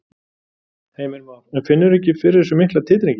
Heimir Már: En finnurðu ekki fyrir þessum mikla titringi?